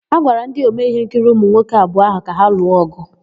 A gwara ndị omee íhénkiri ụmụnwoke abụọ áhụ̀ ka ha lụọ ọ̀gụ.